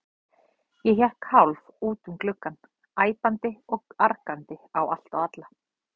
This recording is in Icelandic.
Ég hékk hálf út um gluggann, æpandi og argandi á allt og alla.